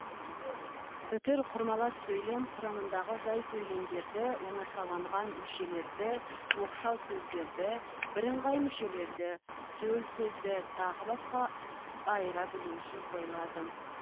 үтір құрмалас сөйлем құрамындағы жай сөйлемдерді оңашаланған мүшелерді оқшау сөздерді бірыңғай мүшелерді төл сөзді тағы басқа айыра білу үшін қойылады